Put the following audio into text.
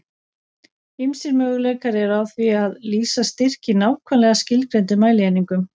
Ýmsir möguleikar eru á því að lýsa styrk í nákvæmlega skilgreindum mælieiningum.